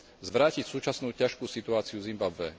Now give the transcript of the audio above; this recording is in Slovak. zvrátiť súčasnú ťažkú situáciu v Zimbabwe.